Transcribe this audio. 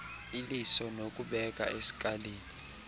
iliso nokubeka eskalini